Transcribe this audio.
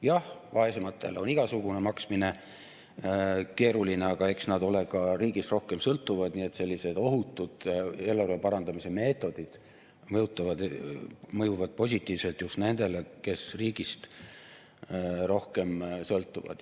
Jah, vaesematel on igasugune maksmine keeruline, aga eks nad ole ka riigist rohkem sõltuvad, nii et sellised ohutud eelarve parandamise meetodid mõjuvad positiivselt just nendele, kes riigist rohkem sõltuvad.